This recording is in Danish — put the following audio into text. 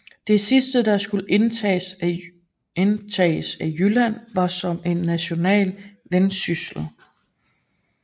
Det sidste der skulle indtages af Jylland var som det er naturligt Vendsyssel